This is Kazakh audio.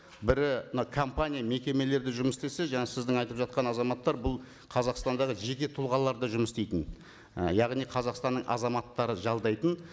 бірі мына компания мекемелерде жұмыс істесе жаңа сіздің айтып жатқан азаматтар бұл қазақстандағы жеке тұлғаларда жұмыс істейтін і яғни қазақстанның азаматтары жалдайтын